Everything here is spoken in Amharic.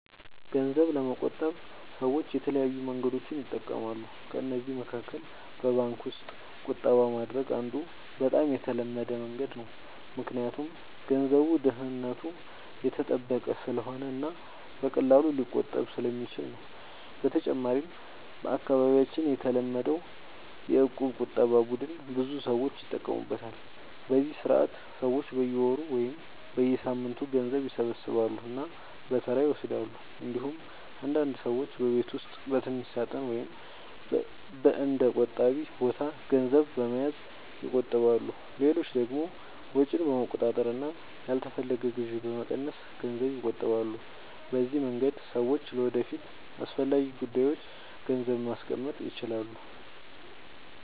ገንዘብ ለመቆጠብ ሰዎች የተለያዩ መንገዶችን ይጠቀማሉ። ከእነዚህ መካከል በባንክ ውስጥ ቁጠባ ማድረግ አንዱ በጣም የተለመደ መንገድ ነው፣ ምክንያቱም ገንዘቡ ደህንነቱ የተጠበቀ ስለሆነ እና በቀላሉ ሊቆጠብ ስለሚችል ነው። በተጨማሪም በአካባቢያችን የተለመደው የእቁብ ቁጠባ ቡድን ብዙ ሰዎች ይጠቀሙበታል፤ በዚህ ስርዓት ሰዎች በየወሩ ወይም በየሳምንቱ ገንዘብ ይሰበስባሉ እና በተራ ይወስዳሉ። እንዲሁም አንዳንድ ሰዎች በቤት ውስጥ በትንሽ ሳጥን ወይም በእንደ “ቆጣቢ ቦታ” ገንዘብ በመያዝ ይቆጥባሉ። ሌሎች ደግሞ ወጪን በመቆጣጠር እና ያልተፈለገ ግዢ በመቀነስ ገንዘብ ይቆጥባሉ። በዚህ መንገድ ሰዎች ለወደፊት አስፈላጊ ጉዳዮች ገንዘብ ማስቀመጥ ይችላሉ።